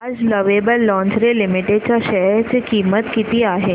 आज lovable lingerie limited च्या share ची किंमत किती आहे